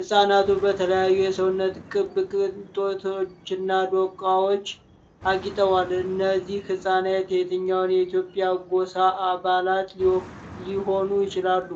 ሕፃናቱ በተለያዩ የሰውነት ቅብ ቅጦችና ዶቃዎች አጌጠዋል። እነዚህ ሕፃናት የትኛውን የኢትዮጵያ ጎሳ አባላት ሊሆኑ ይችላሉ?